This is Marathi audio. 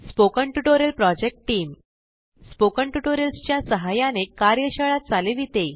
spoken tutorial project team spoken tutorials च्या सहाय्याने कार्यशाळा चालविते